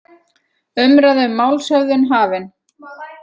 Umræða um málshöfðun hafin